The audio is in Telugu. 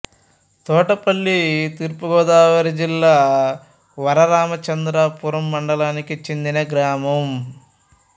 తోటపల్లి తూర్పు గోదావరి జిల్లా వరరామచంద్రపురం మండలానికి చెందిన గ్రామం